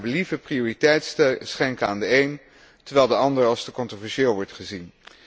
De Raad kan naar believen prioriteit schenken aan de een, terwijl de ander als te controversieel wordt gezien.